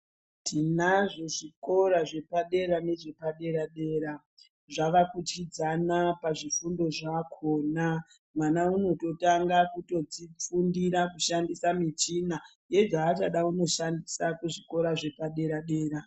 Tinazvo zvikora zvepadera nezvepadera-dera zvavakudyidzana pazvifundo zvakona. Mwana unototanga kutofundira kushandisa michina yezvachada kunoshandisa kuzvikora zvepadera-dera.